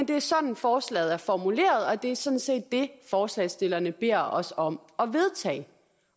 det er sådan forslaget er formuleret og det er sådan set det forslagsstillerne beder os om at vedtage